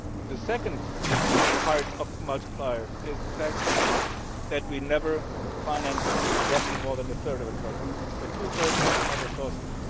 The second part of the multiplier is the fact that we never finance roughly more than a third of a project, so two thirds come from other sources.